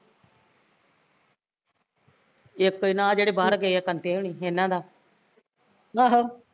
ਇੱਕ ਇਹਨਾਂ ਅਹ ਜਿਹੜੇ ਬਾਹਰ ਗਏ ਆ ਕੰਟੇ ਹੁਣੀ, ਇਹਨਾਂ ਦਾ